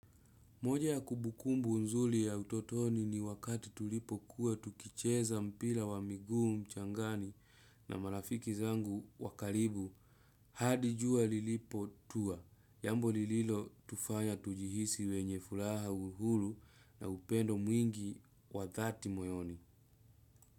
Moja ya kumbukumbu nzuri ya utotoni ni wakati tulipokuwa tukicheza mpira wa miguu mchangani na marafiki zangu wa karibu. Hadi jua lilipotua, jambo lililotufanya tujihisi wenye furaha, uhuru na upendo mwingi wa dhati moyoni.